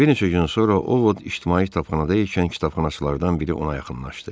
Bir neçə gün sonra O Vod ictimai kitabxanada ikən kitabxanaçılardan biri ona yaxınlaşdı.